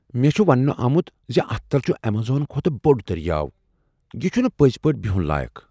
مےٚ چُھ ونٛنہٕ آمُت زِ اتھ تل چُھ ایمیزون کھۄتہٕ بوٚڑ دریاو۔ یہ چھنہٕ پزۍ پٲٹھۍ بیُہن لایقٕ۔